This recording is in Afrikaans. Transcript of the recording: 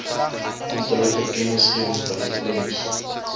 amptelike kennisgewing telefonies